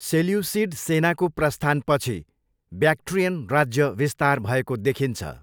Seleucid सेनाको प्रस्थानपछि, Bactrian राज्य विस्तार भएको देखिन्छ।